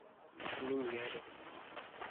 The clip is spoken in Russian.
миньяре